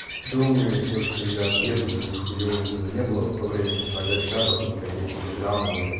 думаю то что я от еду и хуева было не было в то время ещё тогда чатов никаких телеграмов блять